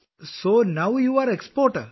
അപ്പോൾ താങ്കൾ ഇപ്പോൾ കയറ്റുമതിക്കാരിയായി